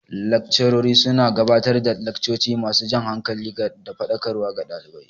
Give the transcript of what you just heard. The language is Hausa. Laccarori su na gabatar da laccoci ma su jan hankali da faɗakarwa ga ɗalibai